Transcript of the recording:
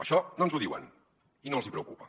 això no ens ho diuen i no els preocupa